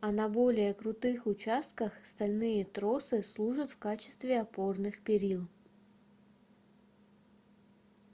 а на более крутых участках стальные тросы служат в качестве опорных перил